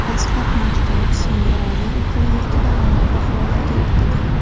Dastlab maktab, so‘ngra oliy o‘quv yurtida a’lo baholarga o‘qidi.